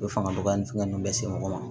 U bɛ fanga dɔgɔya ni fɛngɛ ninnu bɛ se mɔgɔ ma